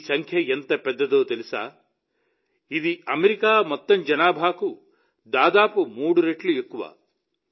ఈ సంఖ్య ఎంత పెద్దదో తెలుసా ఇది అమెరికా మొత్తం జనాభాకు దాదాపు మూడు రెట్లు ఎక్కువ